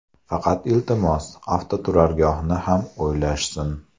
Faqat, iltimos, avtoturargohni ham o‘ylashsin.